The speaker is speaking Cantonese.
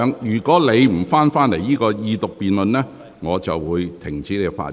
若你不返回這項二讀辯論的議題，我會停止你發言。